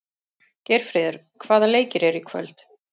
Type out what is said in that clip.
Geirfríður, hvaða leikir eru í kvöld?